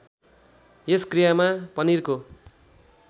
यस क्रियामा पनिरको